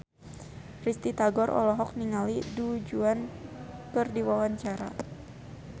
Risty Tagor olohok ningali Du Juan keur diwawancara